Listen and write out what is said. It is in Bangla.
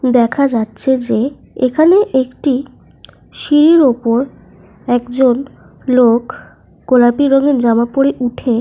দেখা যাচ্ছে যে এখানে একটি সিঁড়ির ওপর একজন লোক গোলাপী রঙের জামা পরে উঠে।